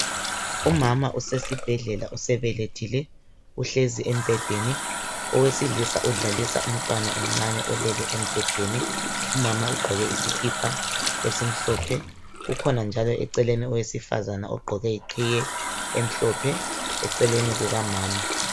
Umama usesibhedlela usebelethile uhlezi embhedeni owesilisa kudlalisa umntwana omncane olele embhedeni. Umama ugqoke isikipa esimhlophe ukhona njalo eceleni owesifazana ogqqoke iqhiye emhlophe eceleni kukamama